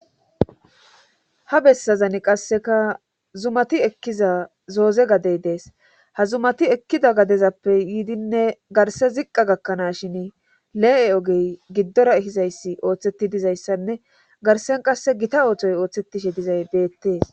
Ha bessazani qasseka zumati ekkiza zooze gadey dees ha zumati ekkida gadezappe yiidinne garse ziqqa gakkanaas shin le7e ogey giddora ehizayssi ooththetti dizayssanne garsen qasse gita ooththoy ooththettishe dizay deettees